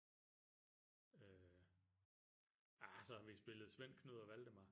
Øh ja så har vi spillet Svend Knud og Valdemar